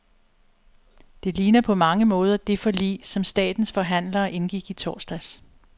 Det ligner på mange måder det forlig, som statens forhandlere indgik i torsdags.